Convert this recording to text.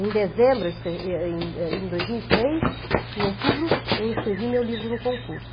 Em dezembro, eu escre em é em em dois mil e três, em outubro, eu inscrevi meu livro no concurso.